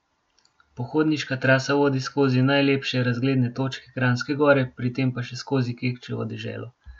Pohodniška trasa vodi skozi najlepše razgledne točke Kranjske Gore, pri tem pa še skozi Kekčevo deželo.